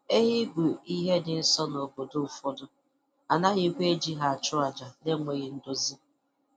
Ehi bụ ihe dị nsọ n'obodo ụfọdụ, a naghịkwa eji ha achụ aja na-enweghị nduzi.